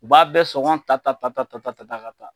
U b'a bɛɛ sɔngɔn ta ta ta ta ta ta ta ka taa.